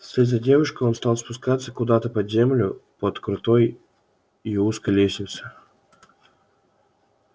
вслед за девушкой он стал спускаться куда-то под землю под крутой и узкой лестнице